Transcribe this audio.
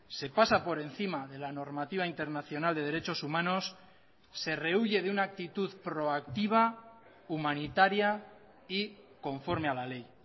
se pasa por encima de la normativa internacional de derechos humanos se rehuye de una actitud proactiva humanitaria y conforme a la ley